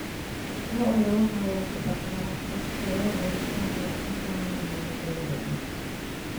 Lo'da waxaa lagu dhaqdaa daaq tayo leh ka hor intaan la gowracin.